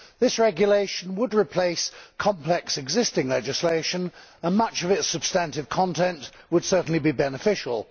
This regulation would replace complex existing legislation and much of its substantive content would certainly be beneficial.